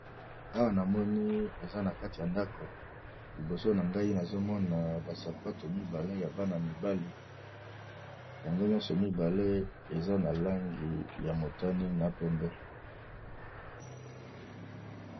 Awa namoni eza na kati ya ndako liboso nangai nazomona ba sapatu mibale ya Bana mibali yango nyoso eza na balangi ya motani na pembe.